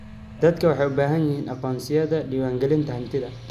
Dadku waxay u baahan yihiin aqoonsiyada diiwaangelinta hantida.